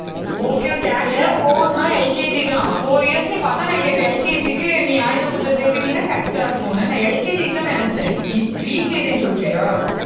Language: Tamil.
okay, okay actual அ four ன்னா LKG தான், four years ன்னு அதான் நான் கேட்டேன், LKG க்கு நீ ஆயுத பூஜை சேர்த்துனின்னா, correct ஆ இருக்கும்னு. நான் LKG க்குதான் நினைச்சேன். நீ pre KG ன்னு சொல்றியா